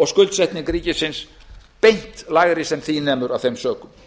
og skuldsetning ríkisins beint lægri sem því nemur af þeim sökum